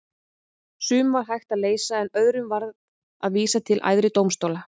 Sum var hægt að leysa en öðrum varð að vísa til æðri dómstóla.